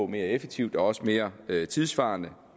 mere effektivt og også mere tidssvarende